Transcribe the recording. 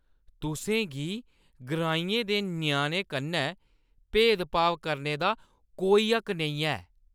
तुसें गी ग्राइंयें दे ञ्याणें कन्नै भेद-भाव करने दा कोई हक्क नेईं ऐ।